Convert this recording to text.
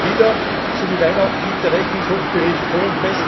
Alle Jahre wieder so wie Weihnachten liegt der Rechnungshofbericht vor.